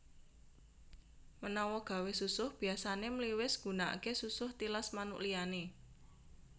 Menawa gawé susuh biyasane mliwis gunakake susuh tilas manuk liyane